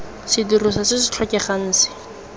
sedirisiwa se se tlhokegang se